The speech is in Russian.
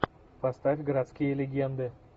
поставь городские легенды